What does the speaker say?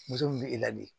Muso min bɛ e ladi